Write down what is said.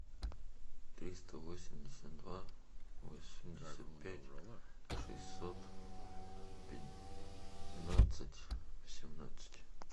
триста восемьдесят два восемьдесят пять шестьсот пятнадцать семнадцать